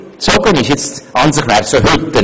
An sich wäre für heute ein SP-Sitz vorgesehen.